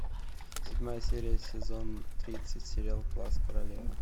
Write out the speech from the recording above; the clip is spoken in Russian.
седьмая серия сезон тридцать сериал класс королевы